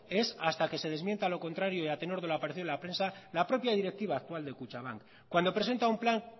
es hasta que de desmienta lo contrario y a tenor de lo aparecido en la prensa la propia directiva actual de kutxabank cuando presenta un plan